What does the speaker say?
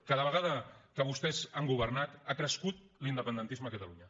cada vegada que vostès han governat ha crescut l’independentisme a catalunya